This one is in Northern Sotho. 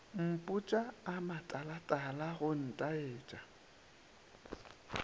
mpotša a matalatala go ntaetša